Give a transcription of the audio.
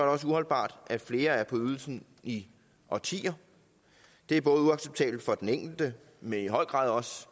også uholdbart at flere er på ydelsen i årtier det er både uacceptabelt for den enkelte men i høj grad også